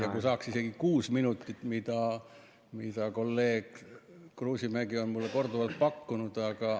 Ja kui saaks isegi kuus minutit, mida kolleeg Kruusimägi on mulle korduvalt pakkunud, aga ...